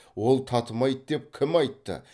ол татымайды деп кім айтты